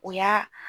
O y'a